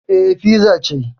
Eh, fiza ce